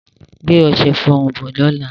Gbé ọṣẹ-ìfọrun bọ̀ lọ́lá.